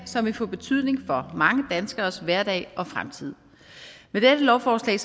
som vil få betydning for mange danskeres hverdag og fremtid med dette lovforslag